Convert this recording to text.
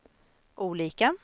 olika